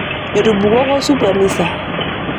Etubukoko supu emisa.